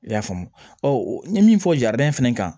I y'a faamu n ye min fɔ jarabi in fɛnɛ kan